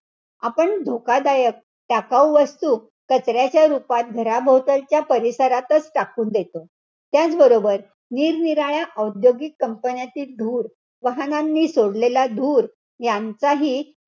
आपण धोकादायक, टाकाऊ वस्तू कचऱ्याच्या रूपात घराभोवतालच्या परिसरातच टाकून देतो. त्याच बरोबर निरनिराळ्या औद्योगिक company तील धूर, वाहनांनी सोडलेला धूर यांचाही,